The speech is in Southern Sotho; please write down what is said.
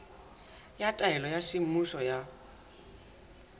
ya taelo ya semmuso ya